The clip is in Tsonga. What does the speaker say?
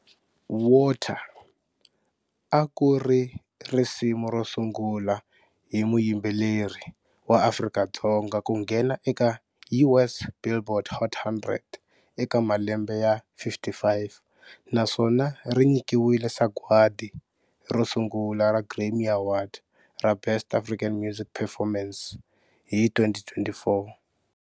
"Water" a ku ri risimu ro sungula hi muyimbeleri wa Afrika-Dzonga ku nghena eka US Billboard Hot 100 eka malembe ya 55 naswona ri nyikiwile sagwadi ro sungula ra Grammy Award ra Best African Music Performance hi 2024.